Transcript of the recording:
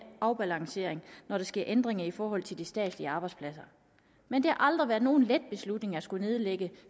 afbalancering når der sker ændringer i forhold til de statslige arbejdspladser men det har aldrig været nogen let beslutning at skulle nedlægge